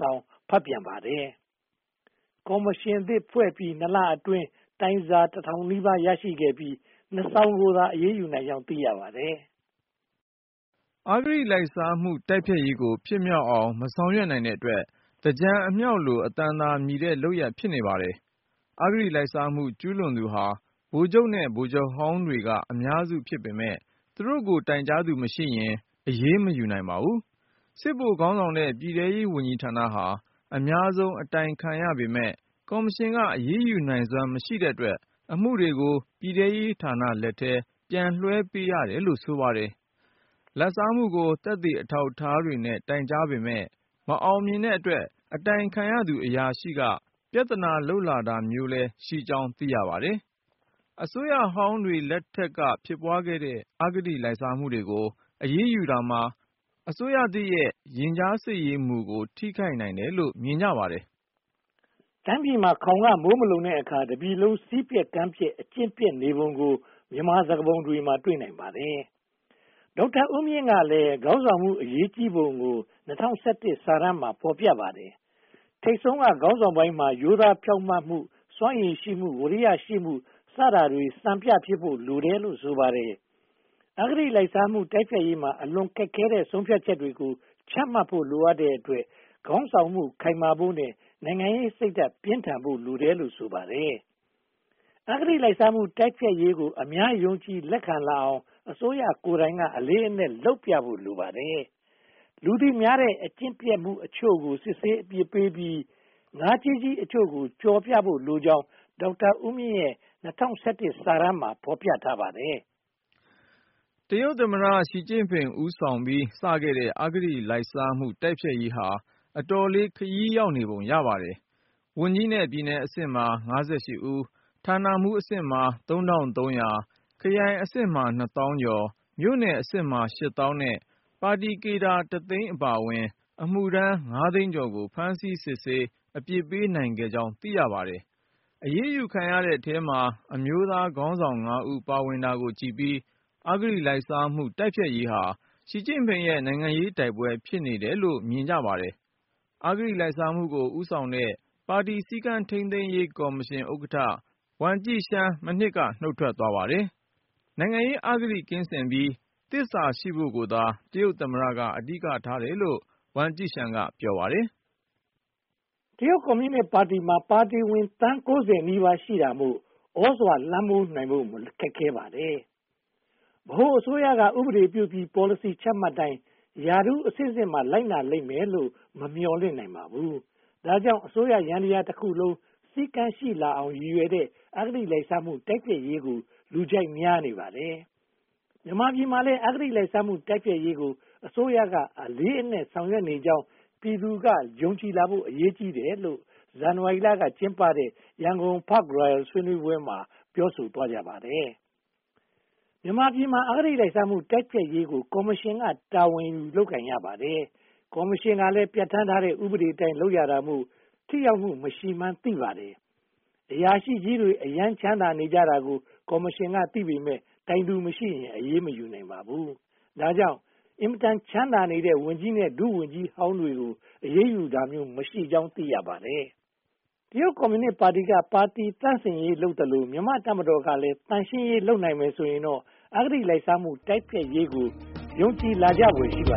စောင် ဖတ်ပြန်ပါတယ်။ ကော်မရှင်သစ် ဖွဲ့စည်းပြီး (၂) လအတွင်းမှာ တိုင်စာ (၁) ထောင်နီးပါး ရရှိပြီး (၂) စောင်ကို အရေးယူနိုင်ကြောင်း သိရပါတယ်။ အဂတိလိုက်စားမှု တိုက်ဖျက်ရေးကို ဖြစ်မြောက်အောင် မဆောင်ရွက်နိုင်တဲ့အတွက် သင်္ကြန်အမြောက်လို အသံသာမြည်တဲ့ လုပ်ရပ်ဖြစ်နေပါတယ်။ အဂတိလိုက်စားမှု ကျူးလွန်သူဟာ ဗိုလ်ချုပ်နဲ့ ဗိုလ်ချုပ်ဟောင်းတွေက အများစုဖြစ်ပေမယ့် သူတို့ကို တိုင်ကြားသူမရှိရင် အရေးမယူနိုင်ပါဘူး။ စစ်ဗိုလ်ခေါင်းဆောင်တဲ့ ပြည်ထဲရေးဝန်ကြီးဌာနဟာ အများဆုံး အတိုင်ခံရပေမယ့် ကော်မရှင်က အရေးယူနိုင်စွမ်း မရှိတဲ့အတွက် အမှုတွေကို ပြည်သူရေးဌာနလက်ထဲ ပြန်လွှဲပေးရတယ်လို့ ဆိုပါတယ်။ လာဘ်စားမှုကို သက်သေအထောက်အထားနဲ့ တိုင်ကြားပေမယ့် မအောင်မြင်တဲ့အတွက် အတိုင်ခံအရာရှိက ပြဿနာလုပ်လာတာမျိုးလည်း ရှိကြောင်း သိရပါတယ်။ အစိုးရဟောင်းတွေ လက်ထက်ကဖြစ်ပွားတဲ့ အဂတိလိုက်စားမှုတွေကို အရေးယူတာဟာ အစိုးရသစ်ရဲ့ ရင်ကြားစေ့မှုကို ထိခိုက်နိုင်တယ်လို့ မြင်ကြပါတယ်။ တိုင်းပြည်မှာ ခေါင်ကမိုးမလုံတဲ့အခါ တပြည်လုံး စည်းပျက်ကမ်းပျက် အကျင့်ပျက်နေပုံကို မြန်မာစကားပုံမှာ တွေ့နိုင်ပါတယ်။ ဒေါက်တာဦးမြင့်ကလည်း ခေါင်းဆောင်မှု အရေးကြီးပုံကို (၂၀၁၁) စာတမ်းမှာ ဖော်ပြပါတယ်။ ထိပ်ဆုံးက ခေါင်းဆောင်ပိုင်းမှာ ရိုးသားဖြောင့်မတ်မှု၊ စွမ်းရည်ရှိမှု၊ ဝီရိယရှိမှု စတာတွေမှာ စံပြဖြစ်ဖို့လိုတယ်လို့ ဆိုပါတယ်။ အဂတိလိုက်စားမှု တိုက်ဖျက်ရေးမှာ အလွန်ခက်ခဲတဲ့ ဆုံးဖြတ်ချက်တွေကို ချမှတ်ဖို့ လိုအပ်တဲ့အတွက် ခေါင်းဆောင်မှု ခိုင်မာဖို့နဲ့ နိုင်ငံရေးစိတ်ဓါတ်ပြင်းထန်ဖို့ လိုတယ်လို့ ဆိုပါတယ်။ အဂတိလိုက်စားမှု တိုက်ဖျက်ရေးကို အများယုံကြည်လက်ခံလာအောင် အစိုးရကိုယ်တိုင် အလေးအနက်လုပ်ပြဖို့ လိုပါတယ်။ လူသိများတဲ့ အကျင့်ပျက်အချို့ကို စစ်ဆေးအပြစ်ပေးပြီး ငါးကြီးကြီးအချို့ကို ကြော်ပြဖို့ လိုအပ်ကြောင်း ဒေါက်တာဦးမြင့်ရဲ့ (၂၀၁၁) စာတမ်းမှာ ဖော်ပြပါတယ်။ တရုတ်သမ္မတ ရှီကျင့်ဖိန် ဦးဆောင်ပြီး စခဲ့တဲ့ အဂတိလိုက်စားမှုတိုက်ဖျက်ရေးဟာ အတော်လေး ခရီးရောက်နေပုံရပါတယ်။ ဝန်ကြီးနဲ့ပြည်နယ်အဆင့်မှာ (၅၈) ဦး၊ ဌာနမှူးအဆင့်မှာ (၃၃၀၀)၊ ခရိုင်အဆင့်မှာ (၂) သောင်းကျော် မြို့နယ်အဆင့်မှာ ရှစ်သောင်းနဲ့ ပါတီကေဒါ တသိန်းအပါအဝင် အမှုထမ်း (၅) သိန်းကျော်ကို ဖမ်းဆီးစစ်ဆေး အပြစ်ပေးနိုင်ခဲ့ကြောင်း သိရပါတယ်။ အရေးယူခံရသူတွေထဲမှာ အမျိုးသားခေါင်းဆောင် (၅) ဦး ပါဝင်တာကိုကြည့်ပြီး အဂတိလိုက်စားမှုတိုက်ဖျက်ရေးဟာ ရှီကျင့်ဖိန်ရဲ့ နိုင်ငံရေးတိုက်ပွဲ ဖြစ်နေတယ်လို့လည်း မြင်ကြပါတယ်။ အဂတိလိုက်စားမှုကို ဦးဆောင်တဲ့ ပါတီစည်းကမ်းထိန်းသိမ်းရေးကော်မရှင် ဥက္ကဋ္ဌ ဝမ်ကျီရှန်း မနှစ်က နုတ်ထွက်သွားပါတယ်။ နိုင်ငံရေးအဂတိကင်းစင်ပြီး သစ္စာရှိဖို့ကိုသာ တရုတ်သမ္မတက အဓိကထားတယ်လို့ ဝမ်ကျိရှန်းက ဆိုပါတယ်။ တရုတ်ကွန်မြူနစ်ပါတီမှာ ပါတီဝင်သန်း (၉၀) နီးပါးရှိတာမို့ သြဇာလွှမ်းမိုးနိုင်ဖို့ ခက်ခဲပါတယ်။ ဗဟိုအစိုးရက ဥပဒေပြုပြီး ပေါ်လစီချမှတ်တိုင်း ရာထူးအဆင့်ဆင့်မှာ လိုက်နာလိမ့်မယ်လို့ မမျှော်လင့်နိုင်ပါဘူး။ ဒါကြောင့် အစိုးရယန္တရားတခုလုံး စည်းကမ်းရှိလာအောင် ရည်ရွယ်တဲ့ အဂတိလိုက်စားမှု တိုက်ဖျက်ရေးကို လူကြိုက်များနေပါတယ်။ မြန်မာပြည်မှာလည်း အဂတိလိုက်စားမှု တိုက်ဖျက်ရေးကို အစိုးရ အလေးအနက်ဆောင်ရွက်နေကြောင်း ပြည်သူလူထုက ယုံကြည်လာဖို့ အရေးကြီးတယ်လို့ ဇန်နဝါရီက ကျင်းပတဲ့ ရန်ကုန် Park Royal ဆွေးနွေးပွဲမှာ ပြောဆိုသွားကြပါတယ်။ မြန်မာပြည်မှာ အဂတိလိုက်စားမှု တိုက်ဖျက်ရေးကို ကော်မရှင်က တာဝန်ယူ လုပ်ကိုင်ရပါတယ်။ ကော်မရှင်ကလည်း ပြဌာန်းထားတဲ့ ဥပဒေအတိုင်း လုပ်ရတာမို့ ထိရောက်မှု မရှိမှန်းသိပါတယ်။ အရာရှိကြီးတွေ အရမ်းချမ်းသာနေကြတာကို ကော်မရှင်ကသိပေမယ့် တိုင်သူမရှိရင် အရေးမယူနိုင်ပါဘူး။ ဒါကြောင့် အင်မတန် ချမ်းသာနေကြတဲ့ ဝန်ကြီးနဲ့ ဒုဝန်ကြီးဟောင်းတွေကို အရေးယူတာမျိုး မရှိကြောင်း သိရပါတယ်။ တရုတ်ကွန်မြူနစ်ပါတီက ပါတီသန့်စင်ရေးလုပ်သလို၊ မြန်မာ့တပ်မတော်ကလည်း သန့်ရှင်းရေး လုပ်နိုင်မယ်ဆိုရင်တော့ အဂတိလိုက်စားမှု တိုက်ဖျက်ရေးကို ယုံကြည်လာဖွယ်ရှိပါတယ